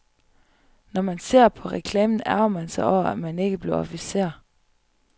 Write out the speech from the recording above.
Når man ser på reklamen, ærgrer man sig over, at man ikke blev officer.